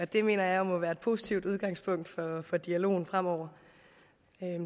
det mener jeg må være et positivt udgangspunkt for dialogen fremover